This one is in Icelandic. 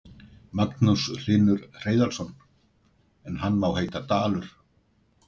Magnús Hlynur Hreiðarsson: En hann má heita Dalur?